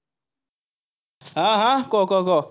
হা হা, ক ক ক,